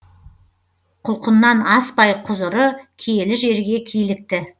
құлқыннан аспай құзыры киелі жерге килікті